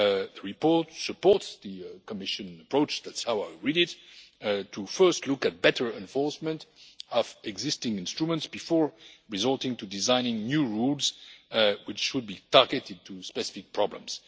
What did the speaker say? The report supports the Commission approach that is how I read it of first looking at better enforcement of existing instruments before resorting to designing new rules, which should be targeted to specific problems.